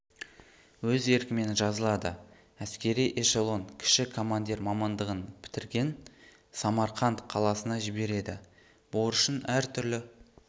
өз еркімен жазылады әскери эшелон кіші командир мамандығын бітірген самарқанд қаласына жібереді борышын әр түрлі